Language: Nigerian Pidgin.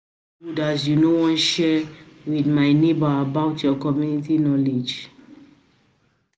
good as you no wan share with my neighbor about your your community knowledge